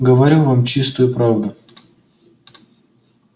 говорю вам чистую правду